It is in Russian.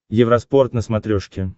евроспорт на смотрешке